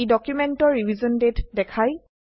ই ডকুমেন্টৰ ৰিভিশ্যন দাঁতে দেখায়